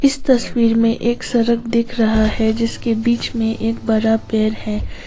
तस्वीर में एक सड़क दिख रहा है जिसके बीच में एक बड़ा पेड़ है।